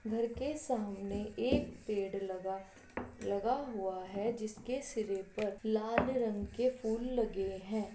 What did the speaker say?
घर के सामने एक पेड़ लगा लगा हुआ है जिसके सिरे पर लाल रंग के फूल लगे है।